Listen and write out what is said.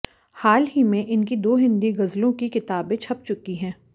हाल ही में इनकी दो हिंदी गजलों की किताबें छप चुकी हैं